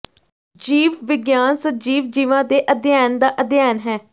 ਜੀਵ ਵਿਗਿਆਨ ਸਜੀਵ ਜੀਵਾਂ ਦੇ ਅਧਿਐਨ ਦਾ ਅਧਿਐਨ ਹੈ